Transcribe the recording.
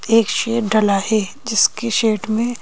एक शेड डला है जिसकी शेड में--